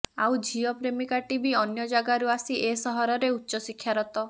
ଆଉ ଝିଅ ପ୍ରେମିକାଟି ବି ଅନ୍ୟ ଯାଗାରୁ ଆସି ଏ ସହରରେ ଉଚ୍ଚଶିକ୍ଷାରତ